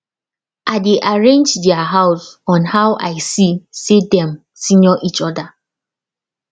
i dey arrange their house on how i see say dem senior each other